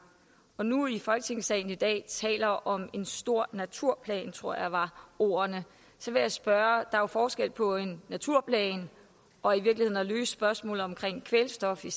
og nu i folketingssalen i dag taler om en stor naturplan det tror jeg var ordene så vil jeg spørge er jo forskel på en naturplan og i virkeligheden at løse spørgsmålet om kvælstof i